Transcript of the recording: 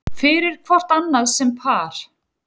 fyrir hvort annað sem par